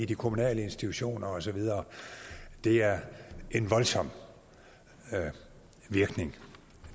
de kommunale institutioner og så videre det er en voldsom virkning